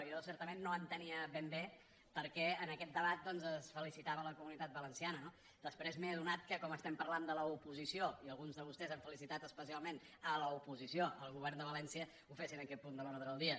jo certament no entenia ben bé per què en aquest debat doncs es felicitava la comunitat valenciana no després m’he adonat que com que parlem de l’oposició i alguns de vostès han felicitat especialment l’oposició al govern de valència ho fessin en aquest punt de l’ordre del dia